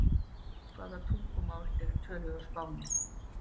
Hvaða tungumál eru töluð á Spáni?